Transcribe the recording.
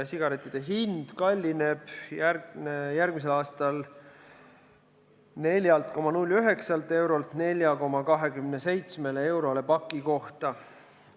Sigarettide hind kallineb järgmisel aastal 4,09 eurolt 4,27 eurole paki kohta.